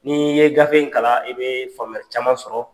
N'i ye gafe in kalan i bɛ faamuya caman sɔrɔ.